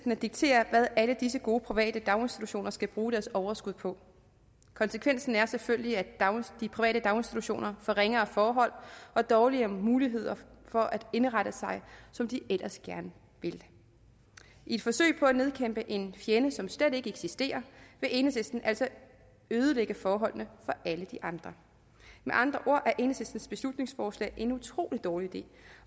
at diktere hvad alle disse gode private daginstitutioner skal bruge deres overskud på konsekvensen er selvfølgelig at de private daginstitutioner får ringere forhold og dårligere muligheder for at indrette sig som de ellers gerne vil i et forsøg på at nedkæmpe en fjende som slet ikke eksisterer vil enhedslisten altså ødelægge forholdene for alle de andre med andre ord er enhedslistens beslutningsforslag en utrolig dårlig idé